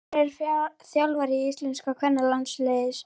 Hver er þjálfari íslenska kvennalandsliðsins?